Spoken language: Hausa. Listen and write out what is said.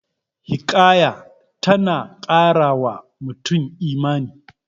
Hikaya ta na ƙara wa mutum Imani